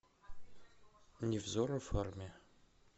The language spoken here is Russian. невзоров армия